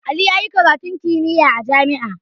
Ali yayi karatun kimiyya a jami'a